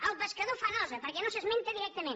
el pescador fa nosa perquè no s’esmenta directament